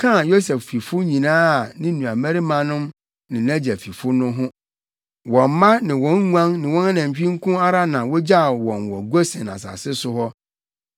kaa Yosef fifo nyinaa a ne nuabarimanom ne nʼagya fifo no ho. Wɔn mma ne wɔn nguan ne wɔn anantwi nko ara na wogyaw wɔn wɔ Gosen asase so hɔ.